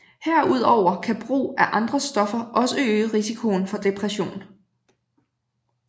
Herudover kan brug af andre stoffer også øge risikoen for depression